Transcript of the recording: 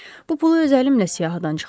Bu pulu öz əlimlə siyahıdan çıxarıram.